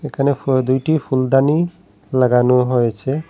এখানে ফু দুইটি ফুলদানি লাগানো হয়েছে।